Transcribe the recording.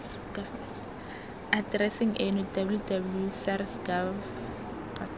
atereseng eno www sars gov